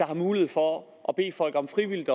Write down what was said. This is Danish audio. har mulighed for at bede folk om frivilligt